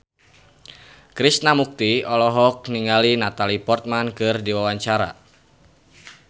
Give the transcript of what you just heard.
Krishna Mukti olohok ningali Natalie Portman keur diwawancara